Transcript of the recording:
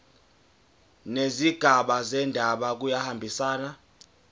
nezigaba zendaba kuyahambisana